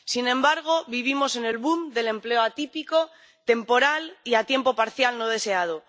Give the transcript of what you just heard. Sin embargo, vivimos en el del empleo atípico, temporal y a tiempo parcial no deseado.